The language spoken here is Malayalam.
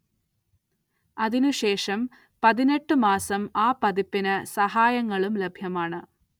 അതിനു ശേഷം പതിനെട്ട് മാസം ആ പതിപ്പിന് സഹായങ്ങളും ലഭ്യമാണ്.